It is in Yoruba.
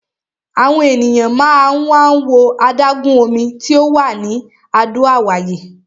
Àwọn ènìyàn máa ń wá wo adágún omi tí ò wà ní Àdó Àwáyé.